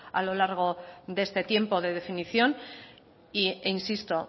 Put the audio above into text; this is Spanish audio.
a lo largo de este tiempo de definición e insisto